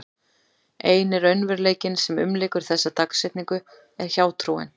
Eini raunveruleikinn sem umlykur þessa dagsetningu er hjátrúin.